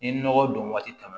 Ni nɔgɔ don waati tɛmɛna